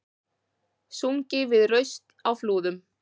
Sungið við raust á Flúðum